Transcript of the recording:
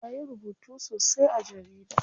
Ya yi rubutu sosai a jarida.